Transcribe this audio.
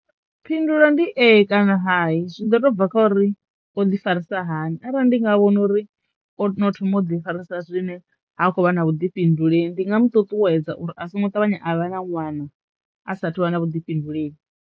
Phindulo ndi ee kana hai zwi do to bva kha uri o ḓi farisa hani arali ndi nga vhona uri o no thoma u ḓi farisa zwine ha khou vha na vhuḓifhinduleli ndi nga mu ṱuṱuwedza uri a songo ṱavhanya a vha na ṅwana a sathu vha na vhuḓifhinduleli.